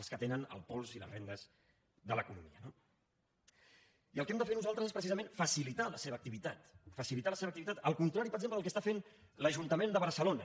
els que tenen el pols i les regnes de l’economia no i el que hem de fer nosaltres és precisament facilitar la seva activitat facilitar la seva activitat el contrari per exemple del que està fent l’ajuntament de barcelona